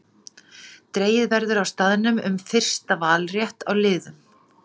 Dregið verður á staðnum um fyrsta valrétt á liðum.